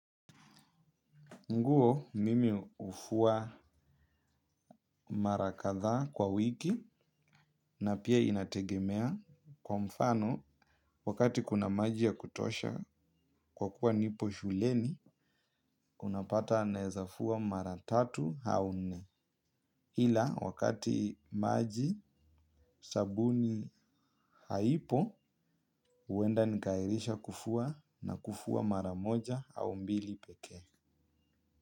Nguo mimi hufua mara kadhaa kwa wiki na pia inategemea kwa mfano wakati kuna maji ya kutosha kwa kuwa nipo shuleni unapata naeza fua mara tatu au nne. Ila wakati maji sabuni haipo huenda nikaairisha kufua na kufua mara moja au mbili pekee.